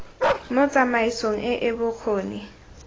mo tsamaisong e e bokgoni